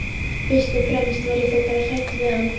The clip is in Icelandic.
Fyrst og fremst var ég þó bara hrædd við hann.